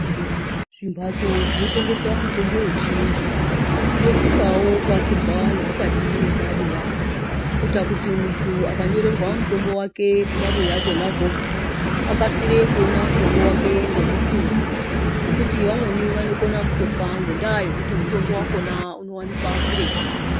Zvimbatso zvinotengesa mutombo yechiyungu zvinosisawo kuakirwawo nemumabuya kuti munhu akanyorerwa mutombo kumabuya ikwokwo akasire kuona mutombo ngemukuwo ngekuti vamweni vanokona kufa ngendaa yekuti mutombo wakona unowanikwa kuretu